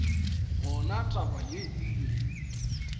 gona taba yeo e be